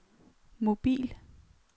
mobil